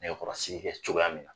Nɛkɛkɔrɔsiki kɛ cogoya min na